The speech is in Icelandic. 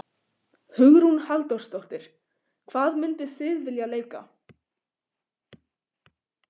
Hugrún Halldórsdóttir: Hvað mynduð þið vilja leika?